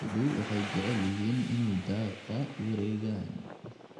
Lo'du waxay jecel yihiin inay daaqa wareegaan.